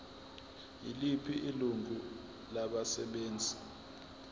yiliphi ilungu labasebenzi